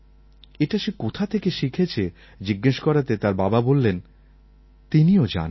এটা সে কোথা থেকে শিখেছে জিজ্ঞেস করাতে তার বাবা বললেন তিনিও জানেন না